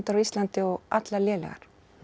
á Íslandi og allar lélegar